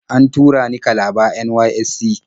An tura ni Kalaba NYSC.